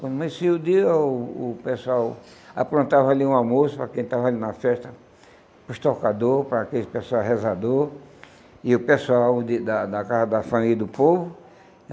Quando amanhecia o dia, o o pessoal aprontava ali um almoço para quem estava ali na festa, para os tocador, para aqueles pessoal rezador, e o pessoal de da da casa da família e do povo.